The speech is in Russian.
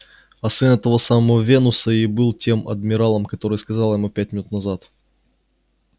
а сын этого самого венуса и был тем адмиралом который сказал ему пять минут назад